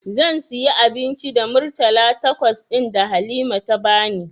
Zan sayi abinci da Murtala takwas ɗin da Halima ta bani.